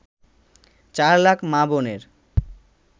চার লাখ মা-বোনের